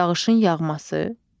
Yağışın yağması.